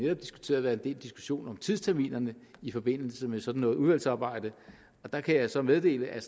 har diskuteret været en del diskussion om tidsterminerne i forbindelse med sådan noget udvalgsarbejde og der kan jeg så meddele at